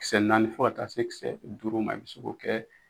Kisɛ naani fo ka taa se kisɛ duuru ma i bɛ se k'o kɛ.